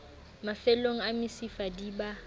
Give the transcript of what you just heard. mafellong a mesifa di ba